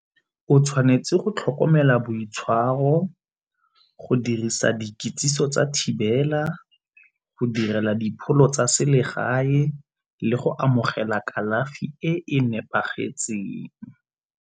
O tshwanetse go tlhokomela boitshwaro, go dirisa dikitsiso tsa thibela, go direla dipholo tsa selegae le go amogela kalafi e nepagetseng.